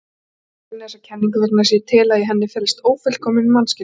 Ég gagnrýni þessa kenningu vegna þess að ég tel að í henni felist ófullkominn mannskilningur.